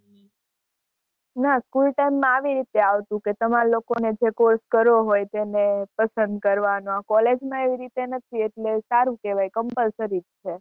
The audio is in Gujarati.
ના School time માં આવી રીતે આવતું કે તમાર લોકો ને જો course કરવો હોય તો એને પસંદ કરવાનો. College માં એવી રીતે નથી એટલે સારું કેવાય compulsory જ છે.